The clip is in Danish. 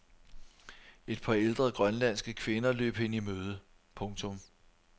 Et par ældre grønlandske kvinder løb hende i møde. punktum